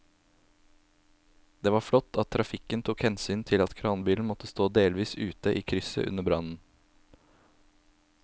Det var flott at trafikken tok hensyn til at kranbilen måtte stå delvis ute i krysset under brannen.